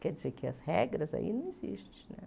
Quer dizer que as regras aí não existem, né?